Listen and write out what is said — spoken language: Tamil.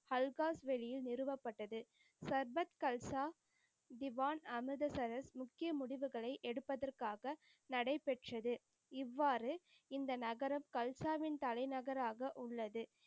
ஹல்காஸ் வெளியில் நிறுவப்பட்டது. சர்வத்கல்சா திவான் அமிர்தசரஸ் முக்கிய முடிவுகளை எடுப்பதற்காக நடைப்பெற்றது. இவ்வாறு இந்த நகரம் கல்சாவின் தலைநகராக உள்ளது.